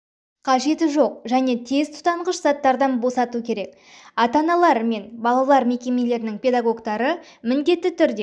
қажеті жоқ және тез тұтанғыш заттардан босату керек атана-аналар мен балалар мекемелерінің педагогтары міндетті түрде